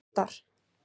hundar